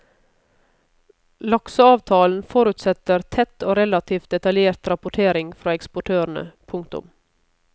Lakseavtalen forutsetter tett og relativt detaljert rapportering fra eksportørene. punktum